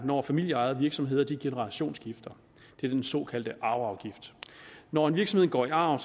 når familieejede virksomheder generationsskifter den såkaldte arveafgift når en virksomhed går i arv